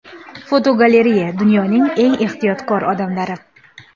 Fotogalereya: Dunyoning eng ehtiyotkor odamlari.